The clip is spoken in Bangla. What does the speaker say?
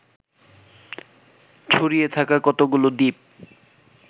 ছড়িয়ে থাকা কতগুলো দ্বীপ